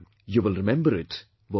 You will remember it, won't you